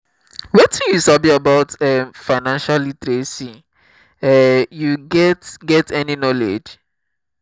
wetin you sabi about um financial literacy um you get get any knowledge?